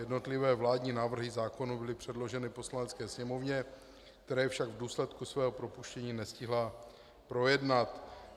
Jednotlivé vládní návrhy zákonů byly předloženy Poslanecké sněmovně, které však v důsledku svého rozpuštění nestihla projednat.